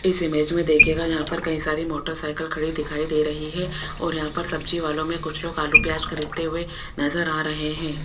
इस इमेज में देखिएगा यहां पर कई सारी मोटर साइकिल खड़ी दिखाई दे रही है और यहां पर सब्जी वालों में कुछ लोग आलू प्याज खरीदते हुए नजर आ रहे हैं।